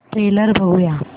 trailer बघूया